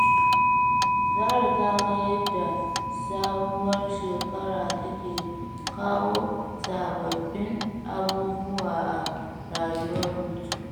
Zahra ta ga yadda sabuwar shekara take kawo sababbin abubuwa a rayuwar mutum.